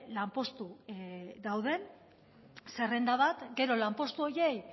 lanpostu dauden zerrenda bat gero lanpostu horiei